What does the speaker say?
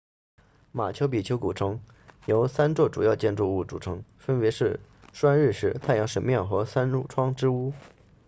马丘比丘古城由三座主要建筑物组成分别是拴日石 intihuatana 太阳神庙和三窗之屋